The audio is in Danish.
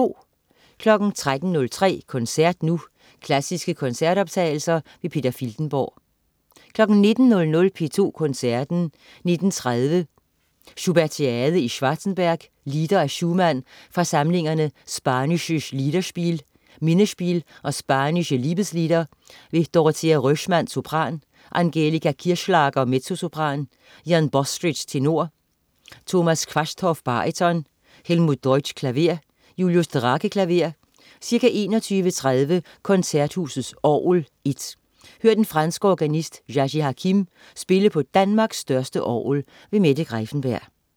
13.03 Koncert nu. Klassiske koncertoptagelser. Peter Filtenborg 19.00 P2 Koncerten. 19.30 Schubertiade i Schwarzenberg. Lieder af Schumann fra samlingerne Spanisches Liederspiel, Minnespiel og Spanische Liebeslieder. Dorothea Röschmann, sopran. Angelika Kirchschlager, mezzosopran. Ian Bostridge, tenor. Thomas Quasthoff, baryton. Helmut Deutsch, klaver. Julius Drake, klaver. Ca. 21.30 Koncerthusets Orgel (I). Hør den franske organist Naji Hakim spille på Danmarks største orgel. Mette Greiffenberg